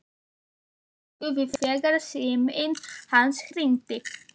Hann hrökk við þegar síminn hans hringdi.